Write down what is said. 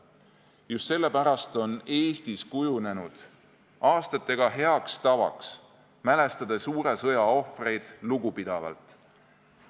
Just sellepärast on Eestis kujunenud aastatega heaks tavaks mälestada suure sõja ohvreid lugupidavalt.